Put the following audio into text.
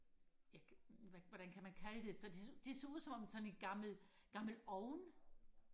jeg kan hvad hvordan kan man kalde det så det ser ud som sådan en gammel gammel ovn